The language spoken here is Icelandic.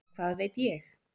En hvað veit ég?